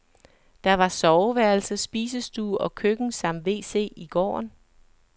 Der var soveværelse, spisestue og køkken samt wc i gården.